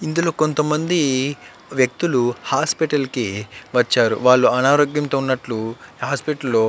ఇందులో కొంతమంది వ్యక్తులు హాస్పిటల్ కి వచ్చారు. వాళ్ళు అనారోగ్యంతో ఉన్నట్టు హాస్పిటల్ లో --